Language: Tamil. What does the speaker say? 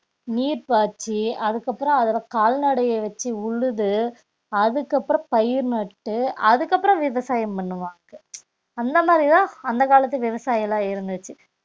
நீர் பாய்ச்சி அதுக்கப்புறம் அதுல கால்நடைய வச்சு உழுது அதுக்கப்புறம் பயிர் நட்டு அதுக்கப்புறம் விவசாயம் பண்ணுவாங்க அந்த மாதிரிதான் அந்த காலத்து விவசாயம் எல்லாம் இருந்துச்சு